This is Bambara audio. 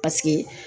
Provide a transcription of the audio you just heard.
Paseke